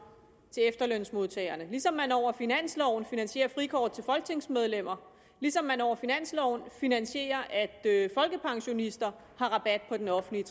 til efterlønsmodtagerne ligesom man over finansloven finansierer frikort til folketingsmedlemmer ligesom man over finansloven finansierer at folkepensionister får rabat på den offentlige